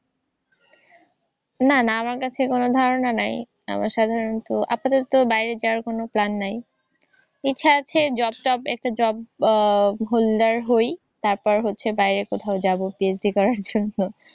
না না আমার কাছে কোনও ধারণা নাই। আমার সাধারণত আপাতত বাইরে যাওয়ার কোনও plan নাই। ইচ্ছা আছে job টব একটা job উহ holder হই। তারপর হচ্ছে বাইরে কোথাও যাবো। PhD করার জন্য।